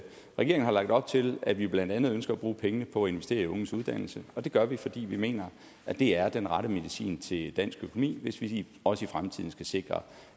regeringen har lagt op til at vi blandt andet ønsker at bruge pengene på at investere i unges uddannelse og det gør vi fordi vi mener det er den rette medicin til dansk økonomi hvis vi også i fremtiden skal sikre